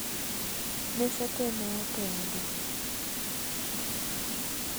Mese tee ne opedhi